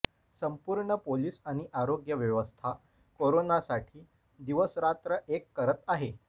संपूर्ण पोलीस आणि आरोग्य व्यवस्था कोरोनासाठी दिवसरात्र एक करत आहे